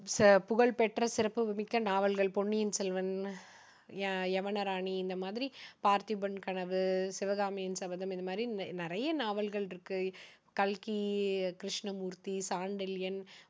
ச~புகழ்பெற்ற சிறப்பு மிக்க நாவல்கள் பொன்னியின் செல்வன், ய~யவனராணி இந்த மாதிரி பார்த்திபன் கனவு, சிவகாமியின் சபதம் இந்த மாதிரி நிறைய நாவல்கள் இருக்கு. கல்கி கிருஷ்ணமூர்த்தி, சாண்டில்யன்,